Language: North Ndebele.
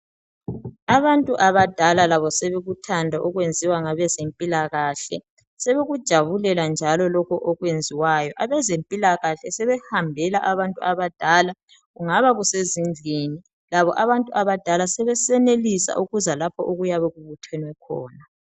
Abantu abadala labo sebekuthanda okwenziwa ngabezempilakahle sebekujabulela njalo lokho okwenziwayo abezempilakahle sebehambela abantu abadala kungaba sezindlini, labo abantu abadala sebesenelisa ukuza lapho okuyebe kubuthenwe khona.